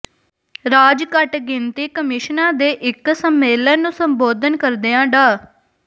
ਰਾਜ ਘੱਟ ਗਿਣਤੀ ਕਮਿਸ਼ਨਾਂ ਦੇ ਇਕ ਸੰਮੇਲਨ ਨੂੰ ਸੰਬੋਧਨ ਕਰਦਿਆਂ ਡਾ